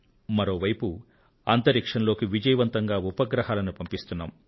మరో వైపు అంతరిక్షంలోకి విజయవంతంగా ఉపగ్రహాలను పంపిస్తున్నాం